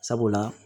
Sabula